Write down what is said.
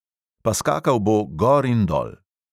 Pa skakal bo gor in dol.